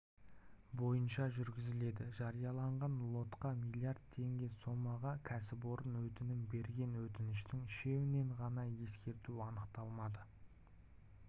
бойынша жүргізіледі жарияланған лотқа млрд теңге сомаға кәсіпорын өтінім берген өтініштің үшеуінен ғана ескерту анықталмады